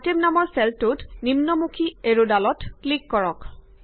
item নামৰ চেলটোত নিম্ন মুখী এৰ ডলত ক্লিক কৰক